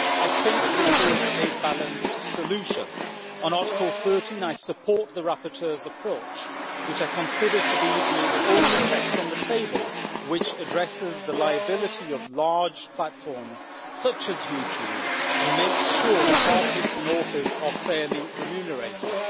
I think this is a balanced solution. On Article 13, I support the rapporteur's approach, which I consider to be the only text on the table which addresses the liability of large platforms such as YouTube, and makes sure that artists and authors are fairly remunerated.